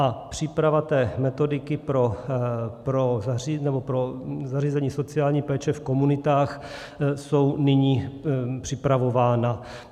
A příprava té metodiky pro zařízení sociální péče v komunitách, jsou nyní připravována.